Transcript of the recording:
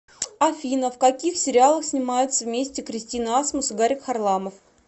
афина в каких сериалах снимаются вместе кристина асмус и гарик харламов